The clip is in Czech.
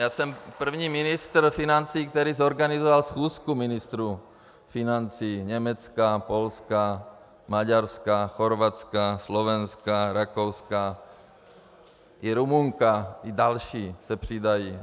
Já jsem první ministr financí, který zorganizoval schůzku ministrů financí Německa, Polska, Maďarska, Chorvatska, Slovenska, Rakouska, i Rumunska, i další se přidají.